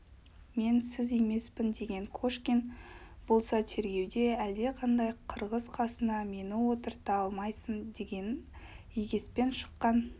мен сіз емеспін деген кошкин болса тергеуде әлдеқандай қырғыз қасына мені отырта алмайсың деген егеспен шыққан